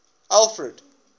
alfred